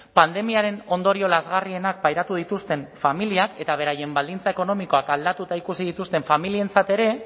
pandemiaren ondorio lazgarrienak pairatu dituzten familiak eta beraien baldintza ekonomikoak aldatuta ikusi dituzten familientzat ere